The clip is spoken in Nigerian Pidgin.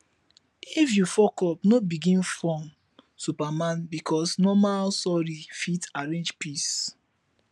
if yu fuckup no begin form superman bikos normal sori fit arrange peace